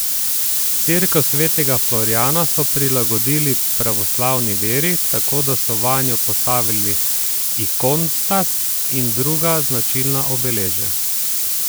Cerkev svetega Florijana so prilagodili pravoslavni veri, tako da so vanjo postavili ikonostas in druga značilna obeležja.